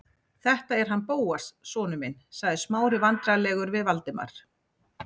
Þetta er hann Bóas sonur minn- sagði Smári vandræðalegur við Valdimar.